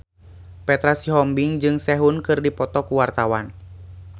Petra Sihombing jeung Sehun keur dipoto ku wartawan